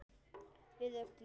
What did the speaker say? Við öllu.